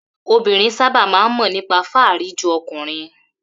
Obinrin sábà máa ń mọ̀ nípa fáàrí ju ọkùnrin